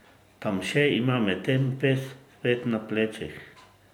Tamše ima medtem ves svet na plečih.